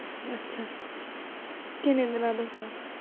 ਅੱਛਾ ਕੀਨੇ ਦਿਨਾਂ ਦਾ ਹੁੰਦਾ